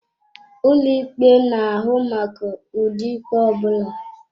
Ụlọ ikpe na-ahụ maka ụdị ikpe ọ bụla.